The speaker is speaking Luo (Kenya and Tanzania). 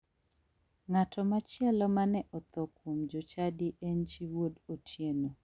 Ng'ato machielo mane otho kuom jochadi en chi wuod otieno.